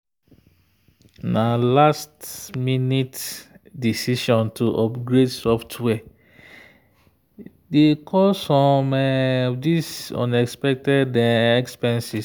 na last-minute decision to upgrade software dey cause some of these unexpected expenses.